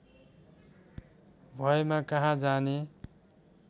भएमा कहाँ जाने